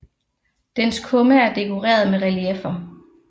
Dens kumme er dekoreret med relieffer